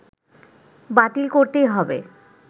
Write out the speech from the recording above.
বাতিল করতেই হবে